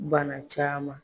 Banna caman